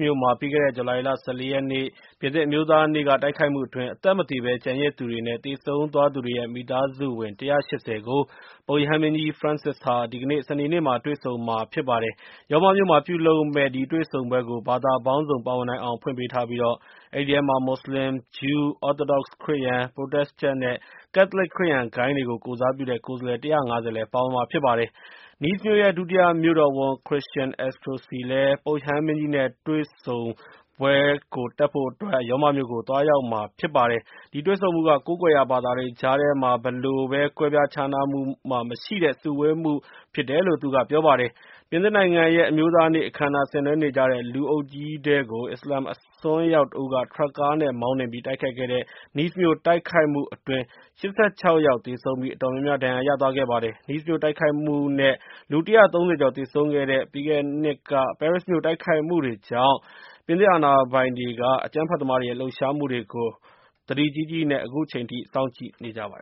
မြို့မှာ ပြီးခဲ့တဲ့ ဇူလိုင်လ ၁၄ ရက်နေ့ ပြင်သစ်အမျိုးသားနေ့ကတိုက်ခိုက်မှုအတွင်း အသက်မသေဘဲကျန်ရစ်သူတွေ နဲ့ သေဆုံးသွားသူတွေရဲ့ မိသားစုဝင် ၁၈၀ ကို ပုပ်ရဟန်းမင်းကြီး ဖရန်စစ်ဟာ ဒီကနေ့ စနေနေ့မှာ တွေ့ဆုံမှာဖြစ်ပါတယ်။ ရောမမြို့မှာ ပြုလုပ်မယ့် ဒီတွေ့ဆုံပွဲကို ဘာသာပေါင်းစုံပါဝင်နိုင်အောင်ဖွင့်ပေးထားပြီး၊ အဲဒီထဲမှာ မွတ်စလင်၊ ဂျူး၊ Orthodox ခရစ်ယာန်၊ ပရိုတက်စ်တန့် နဲ့ ကက်သလစ်ခရစ်ယာန် ဂိုဏ်းတွေကို ကိုယ်စားပြုတဲ့ ကိုယ်စားလှယ် ၁၅၀ လည်း ပါဝင်မှာဖြစ်ပါတယ်။ Nice မြို့ရဲ့ ဒုတိယမြို့တော်ဝန် Christian Estrosi လည်း ပုပ်ရဟန်းမင်းကြီး နဲ့ တွေ့ဆုံတဲ့ပွဲကို တက်ရောက်ဖို့အတွက်ရောမမြိုကိုသွားရောက်မှာဖြစ်ပါတယ်။ ဒီတွေ့ဆုံမှုက ကိုးကွယ်ရာဘာသာတွေကြားထဲမှာ ဘယ်လိုကွဲပြားခြားနားမှုမှမရှိတဲ့ စုဝေးမှုဖြစ်တယ်လို့ သူကအလေးပေးပြောကြားလိုက်ပါတယ်။ ပြင်သစ်နိုင်ငံရဲ့ အမျိုးသားနေ့အခမ်းအနား ဆင်နွဲနေကြတဲ့ လူအုပ်ကြီးထဲကို အစ္စလာမ်မစ်အစွန်းရောက်တဦးက ထရပ်ကားနဲ့မောင်းနှင်ပြီး တိုက်ခိုက်ခဲ့တဲ့ Nice မြို့တိုက်ခိုက်မှုအတွင်း ၈၆ ယောက်သေဆုံးပြီး၊ အတော်များများ ဒဏ်ရာရသွားခဲ့ကြပါတယ်။ Nice မြို့တိုက်ခိုက်မှု နဲ့ လူ ၁၃၀ ကျော်သေဆုံးခဲ့တဲ့ ပြီးခဲ့တဲ့နှစ်က ပဲရစ်မြို့တိုက်ခိုက်မှုတွေကြောင့် ပြင်သစ်အာဏာပိုင်တွေက အကြမ်းဖက်သမားတွေရဲ့ လှုပ်ရှားမှုတွေကို သတိကြီးကြီးနဲ့ စောင့်ကြည့်နေကြပါတ